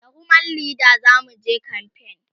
da woman Leda zamuje kamfen